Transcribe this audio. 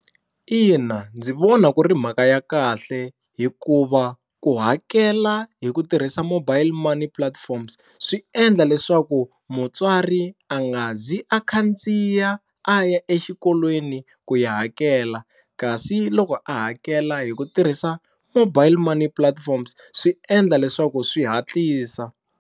Ina ndzi vona ku ri mhaka ya kahle hikuva ku hakela hi ku tirhisa mobile money platforms swi endla leswaku mutswari a nga zi a khandziya a ya exikolweni ku ya hakela kasi loko a hakela hi ku tirhisa mobile money platforms swi endla leswaku swi hatlisa.